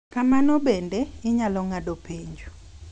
Kamano bende, inyalo ng’ado penjo